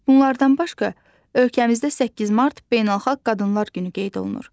Bunlardan başqa ölkəmizdə 8 mart Beynəlxalq Qadınlar günü qeyd olunur.